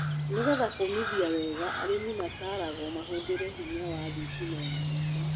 Nĩgeetha kũmithia wega arĩmĩ mataragwo mahũthire hinya wa thitima ya riũa.